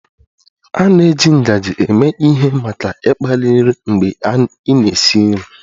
A na-eji ngaji eme ihe maka ịkpali nri mgbe ị na-esi nri